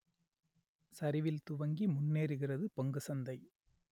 சரிவில் துவங்கி முன்னேறுகிறது பங்கு சந்தை